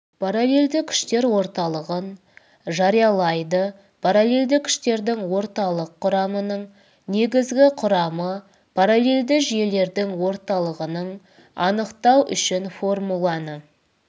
параллельді күштер орталығын жариялайды параллельді күштердің орталық құрамының негізгі құрамы параллельді жүйелердің орталығының анықтау үшін формуланы